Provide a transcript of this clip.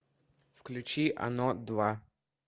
включи оно два